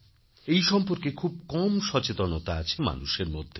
এই সম্পর্কে খুব কম সচেতনতা আছে মানুষের মধ্যে